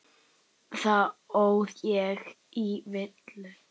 Þar óð ég í villu.